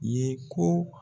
Ye ko.